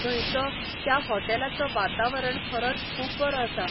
थंयचो, त्या हॉटेलाचो वातावरण खरोच खूब बरो आसा.